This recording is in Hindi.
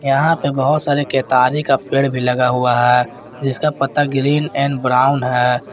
यहां पे बहोत सारे केतारी का पेड़ भी लगा हुआ है जिसका पत्ता ग्रीन एंड ब्राउन है।